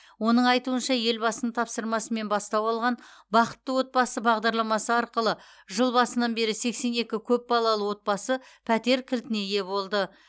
оның айтуынша елбасының тапсырмасымен бастау алған бақытты отбасы бағдарламасы арқылы жыл басынан бері сексен екі көпбалалы отбасы пәтер кілтіне ие болды